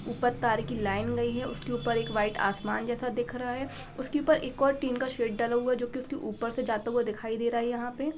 ऊपर तार की लाइन गई है। उसके ऊपर एक व्हाइट आसमान जैसा दिख रहा है। उसके ऊपर एक और टीन का शेड डाला हुआ है जो की उसके ऊपर से जाता हुआ दिखाई दे रहा है यहाँ पे ।